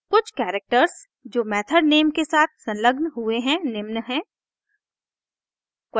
कुछ characters characters जो method name के साथ संलग्न हुए है निम्न हैं: